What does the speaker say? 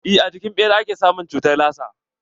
Eh a jikin ɓera ake samun cutar lasa.